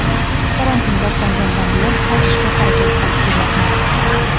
karantin boshlangandan buyon qaytishga harakat qilib kelyapman.